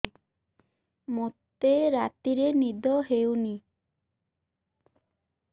ମୋତେ ରାତିରେ ନିଦ ହେଉନି